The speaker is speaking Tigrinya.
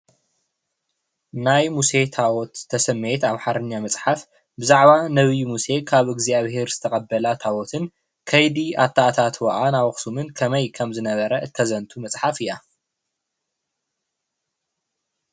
ናይ ሙሴ ታቦት ዝተሰመየት ኣማሓርኛ መፅሓፍ ብዛዕባ ነብይ ሙሴ ካብ እግዝኣብሄር ዝተቀበላ ታቦትን ከይዲ ኣታኣታትውኣ ናብ ኣክሱም ከመይ ከምዝነበረ ተዘንቱ መፅሓፈ እያ።